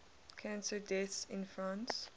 cancer deaths in france